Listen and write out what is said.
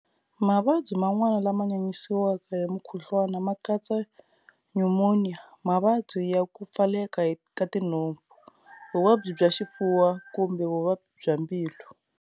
Mavabyi man'wana lama nyanyisiwaka hi mukhuhlwana ma katsa Nyumoniya, Mavabyi ya ku pfaleka ka tinhompfu, Vuvabyi bya Xifuva kumbe vuvabyi bya mbilu.